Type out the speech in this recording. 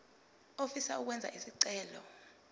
ofisa ukwenza isicelo